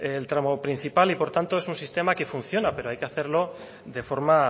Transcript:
el tramo principal y por tanto es un sistema que funciona pero hay que hacerlo de forma